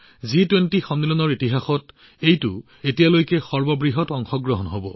জি২০ সন্মিলনৰ ইতিহাসত এইটোৱেই হব আটাইতকৈ ডাঙৰ অংশগ্ৰহণ